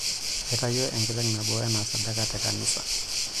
Aitayio enkiteng' nabo anaa sadaka tekanisa.